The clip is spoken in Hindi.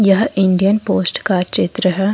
यह इंडियन पोस्ट का चित्र है।